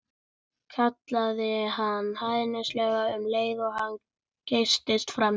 kallaði hann hæðnislega um leið og hann geystist framhjá þeim.